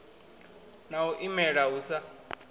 na u imela hu sa